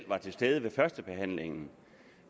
var til stede ved førstebehandlingen